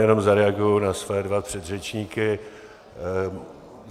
Jenom zareaguji na své dva předřečníky.